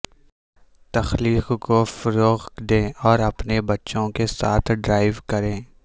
تخلیق کو فروغ دیں اور اپنے بچوں کے ساتھ ڈرائیو کریں